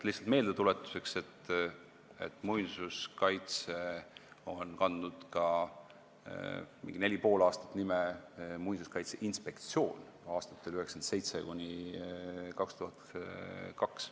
Lihtsalt meeldetuletuseks, et Muinsuskaitseamet kandis umbes neli ja pool aastat ka nime Muinsuskaitseinspektsioon, see oli aastatel 1997–2002.